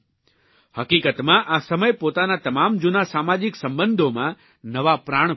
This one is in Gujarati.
હકીકતમાં આ સમય પોતાના તમામ જૂના સામાજીક સંબંધોમાં નવા પ્રાણ ફૂંકવાનો છે